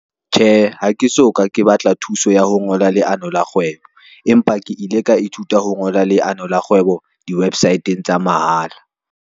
Tjhe, ha ke so ka ke batla thuso ya ho ngola leano la kgwebo, empa ke ile ka ithuta ho ngola leano la kgwebo di-website-ng tsa mahala.